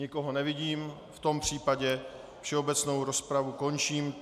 Nikoho nevidím, v tom případě všeobecnou rozpravu končím.